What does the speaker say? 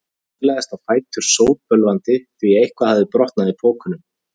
Ég staulaðist á fætur, sótbölvandi, því eitthvað hafði brotnað í pokunum.